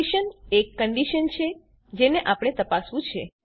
expression એક condition છે જેને આપણે તપાસવું છે